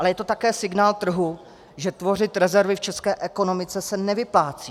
Ale je to také signál trhu, že tvořit rezervy v české ekonomice se nevyplácí.